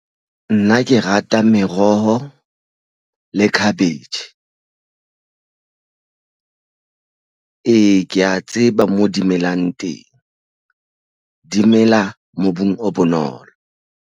Nna ke rata meroho le cabbage ee, ke ya tseba mo di melang teng dimela mobung o bonolo.